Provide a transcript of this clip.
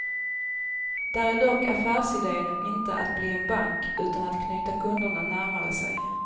Där är dock affärsiden inte att bli en bank utan att knyta kunderna närmare sig.